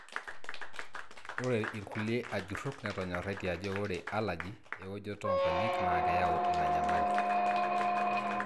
ore ilkulie ajurok netonyoratie ajo ore allergy oweojoto onkonyek na keyau ina nyamali.